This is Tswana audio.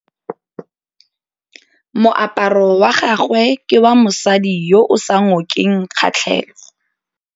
Moaparô wa gagwe ke wa mosadi yo o sa ngôkeng kgatlhegô.